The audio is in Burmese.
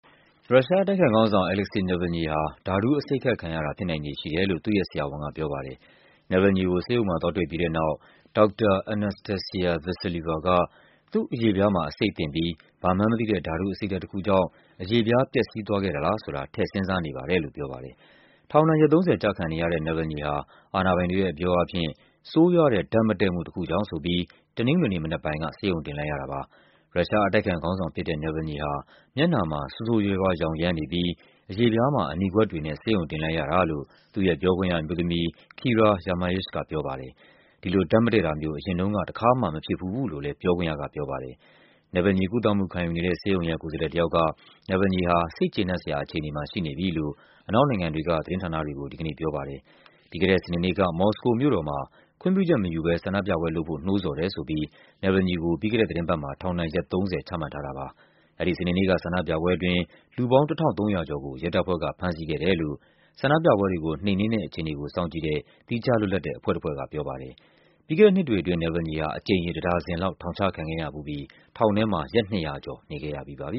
ရုရှားအတိုက်အခံခေါင်းဆောင် Alexei Navalny ဟာ ဓာတုအဆိပ်ခတ်ခံရတာ ဖြစ်နိုင်ခြေရှိတယ်လို့ သူ့ရဲ့ဆရာဝန်က ပြောပါတယ်။ Navalny ကို ဆေးရုံမှာသွားတွေ့ပြီးတဲ့နောက် ဒေါက်တာ Anastassia Vassilieva က “သူ့အရေပြားမှာ အဆိပ်သင့်ပြီး ဘာမှန်း မသိတဲ့ ဓာတုအဆိပ်ဓာတ်တခုကြောင့် အရေပြား ပျက်စီးသွားခဲ့တာလားဆိုတာ ထည့်စဉ်းစားနေပါတယ်။ ထောင်ဒဏ် ရက် ၃၀ ကျခံနေရတဲ့ Navalny ဟာ အာဏာပိုင်တွေရဲ့ အပြောအားဖြင့် ဆိုးရွားတဲ့ ဓာတ်မတည့်မှုတခုကြောင့်ဆိုပြီး တနင်္ဂနွေနေ့မနက်ပိုင်းက ဆေးရုံတင်လိုက်ရတာပါ။ ရုရှားအတိုက်အခံခေါင်းဆောင်ဖြစ်တဲ့ Navalny ဟာ မျက်နှာမှာ ဆိုးဆိုးရွားရွား ယောင်ယန်းနေပြီး အရေပြားမှာ အနီကွက်တွေနဲ့ ဆေးရုံတင်လိုက်ရတာလို့ သူ့ရဲ့ပြောခွင့်ရအမျိုးသမီး Kira Yarmyush ကပြောပါတယ်။ ဒီလို ဓာတ်မတည့်တာမျိုး အရင်တုန်းက တခါမှ မဖြစ်ဖူးဘူးလို့လည်း ပြောခွင့်ရကပြောပါတယ်။ Navalny ကုသမှုခံယူနေတဲ့ ဆေးရုံရဲ့ ကိုယ်စားလှယ်တယောက်က Navalny ဟာ စိတ်ကျေနပ်စရာ အခြေအနေမှာ ရှိနေပြီလို့ အနောက်နိုင်ငံတွေက သတင်းဌာနတွေကို ဒီကနေ့ပြောပါတယ်။ ပြီးခဲ့တဲ့စနေနေ့က မော်စကိုမြို့တော်မှာ ခွင့်ပြုချက်မယူဘဲ ဆန္ဒပြပွဲလုပ်ဖို့ နှိုးဆော်တယ်ဆိုပြီး Navalny ကို ပြီးခဲ့တဲ့သီတင်းပတ်မှာ ထောင်ဒဏ် ရက် ၃၀ ချမှတ်ထားတာပါ။ အဲဒီစနေနေ့က ဆန္ဒပြပွဲအတွင်း လူပေါင်း ၁၃၀၀ ကျော်ကို ရဲတပ်ဖွဲ့က ဖမ်းဆီးခဲ့တယ်လို့ ဆန္ဒပြပွဲတွေကို နှိမ်နင်းတဲ့အခြေအနေကို စောင့်ကြည့်တဲ့ သီးခြားလွတ်လပ်တဲ့ အဖွဲ့တဖွဲ့ကပြောပါတယ်။ ပြီးခဲ့တဲ့နှစ်တွေအတွင်း Navalny ဟာ အကြိမ်ရေ တဒါဇင်လောက် ထောင်ချခံခဲ့ရဖူးပြီး ထောင်ထဲမှာ ရက် ၂၀၀ ကျော် နေခဲ့ရပြီးပါပြ